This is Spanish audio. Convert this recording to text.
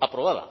aprobada